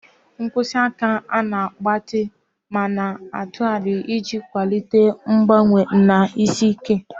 Mkpịsị aka na-agbatị ma na-atụgharị iji kwalite mgbanwe na isi ike.